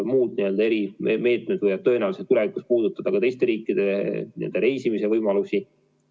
Muud erimeetmed võivad tõenäoliselt tulevikus puudutada ka teistesse riikidesse reisimise võimalusi.